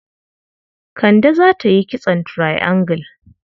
Kande za ta yi kitson triangle.